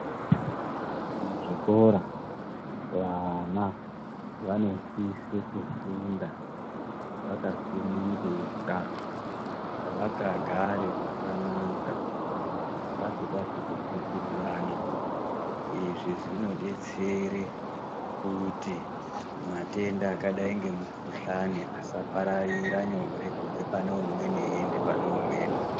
Mu zvikora vana vanosise kufunda vaka sungunuka vaka gare zvakanaka vasingazi ku tsikirirana izvi zvino detsere kuti matenda akadai se mu kuhlani asa pararira nyore kubve pane umweni eyi enda pane umweni.